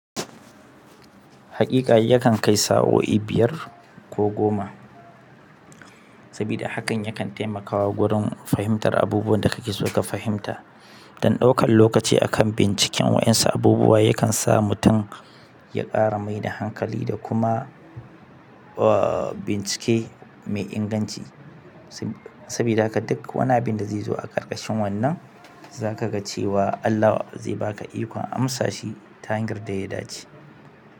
Hakika yakan kai sa'o'i biyar ko goma, sabida hakan yakan taimakawa gurin fahimtar abubuwan da kake so ka fahimta. Dan ɗaukan lokaci akan binciken waɗansu abubuwa yakan sa mutum ya ƙara mai da hankali da kuma, uh, bincike mai inganci. Sabida haka duk wani abin da zai zo a ƙarƙashin wannan, za ka ga cewa Allah zai ba ka ikon amsa shi ta hanyar da ya dace.